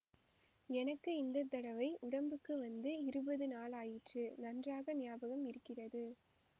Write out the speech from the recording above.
எனக்கு இந்த தடவை உடம்புக்கு வந்து இருபது நாளாயிற்று நன்றாக ஞாபகம் இருக்கிறது